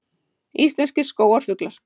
Íslenskir skógarfuglar